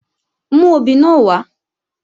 Mú obì náà wá!